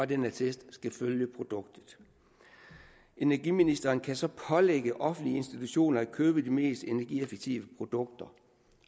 den attest skal følge produktet energiministeren kan så pålægge offentlige institutioner at købe de mest energieffektive produkter